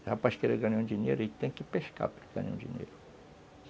Se o rapaz quer ganhar dinheiro, ele tem que pescar para ganhar dinheiro.